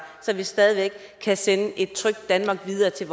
så vi stadig væk kan sende et trygt danmark videre til